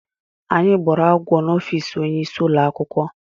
Anyị gbúrù agwọ n'ofici ọnye ịsị ụlọakwụkwọ.